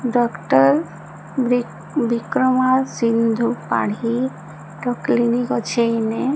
doctor ବ୍ରି ବିକ୍ରମା ସିନ୍ଧୁ ପାଢ଼ୀର clinic ଅଛେ ଏଇନେ ---